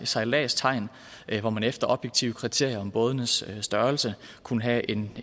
sejladstegn hvor man efter objektive kriterier på bådens størrelse kunne have en